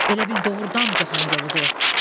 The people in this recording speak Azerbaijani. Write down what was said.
Elə bil Dağıstan yoludur.